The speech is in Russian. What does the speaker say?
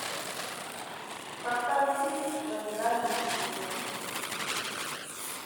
поставь фильм в ожидании чуда